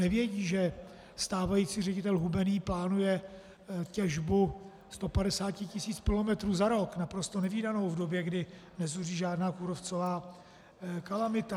Nevědí, že stávající ředitel Hubený plánuje těžbu 150 tisíc plnometrů za rok, naprosto nevídanou v době, kdy nehrozí žádná kůrovcová kalamita.